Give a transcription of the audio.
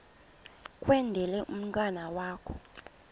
kwendele umntwana wakho